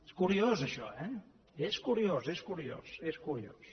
és curiós això eh és curiós és curiós és curiós